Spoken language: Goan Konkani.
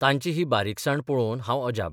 तांची ही बारीकसाण पळोवन हांव अजाप.